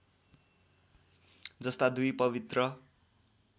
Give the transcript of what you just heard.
जस्ता दुई पवित्र